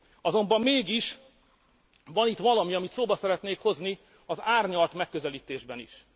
Azonban mégis van itt valami, amit szóba szeretnék hozni az árnyalt megközelítésben is.